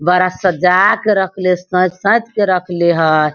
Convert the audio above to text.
बड़ा साजा के रखले सेएत-सेएत के रखले हेय।